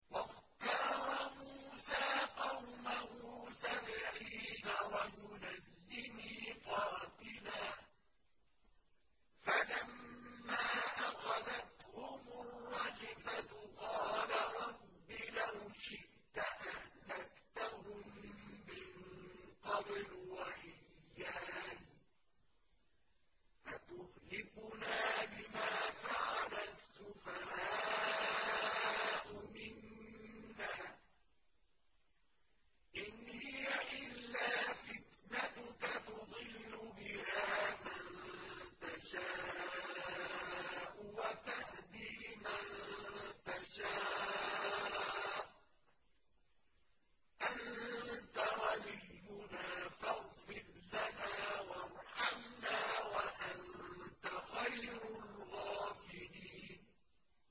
وَاخْتَارَ مُوسَىٰ قَوْمَهُ سَبْعِينَ رَجُلًا لِّمِيقَاتِنَا ۖ فَلَمَّا أَخَذَتْهُمُ الرَّجْفَةُ قَالَ رَبِّ لَوْ شِئْتَ أَهْلَكْتَهُم مِّن قَبْلُ وَإِيَّايَ ۖ أَتُهْلِكُنَا بِمَا فَعَلَ السُّفَهَاءُ مِنَّا ۖ إِنْ هِيَ إِلَّا فِتْنَتُكَ تُضِلُّ بِهَا مَن تَشَاءُ وَتَهْدِي مَن تَشَاءُ ۖ أَنتَ وَلِيُّنَا فَاغْفِرْ لَنَا وَارْحَمْنَا ۖ وَأَنتَ خَيْرُ الْغَافِرِينَ